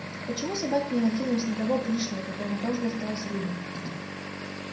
почему собаки не накинулись на того пришлого которому тоже досталась рыба